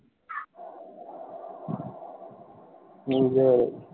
এই যে